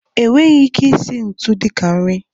E nweghị ike isi ntu dịka nri.